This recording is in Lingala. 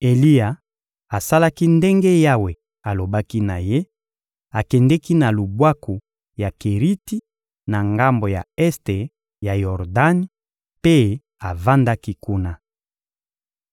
Eliya asalaki ndenge Yawe alobaki na ye: akendeki na lubwaku ya Keriti na ngambo ya este ya Yordani mpe avandaki kuna.